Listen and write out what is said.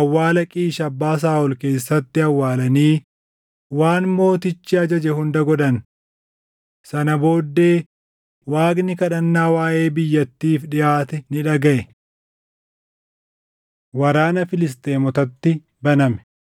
awwaala Qiish abbaa Saaʼol keessatti awwaalanii waan mootichi ajaje hunda godhan. Sana booddee Waaqni kadhannaa waaʼee biyyattiif dhiʼaate ni dhagaʼe. Waraana Filisxeemotatti Baname 21:15‑22 kwf – 1Sn 20:4‑8